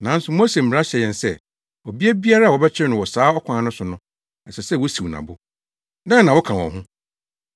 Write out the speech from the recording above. nanso Mose mmara hyɛ yɛn sɛ, ɔbea biara a wɔbɛkyere no wɔ saa ɔkwan no so no, ɛsɛ sɛ wosiw no abo. Dɛn na woka wɔ ho?”